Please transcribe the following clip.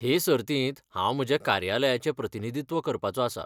हे सर्तींत हांव म्हज्या कार्यालयाचें प्रतिनिधित्व करपाचो आसा.